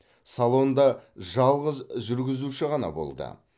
салонда жалғыз жүргізуші ғана болды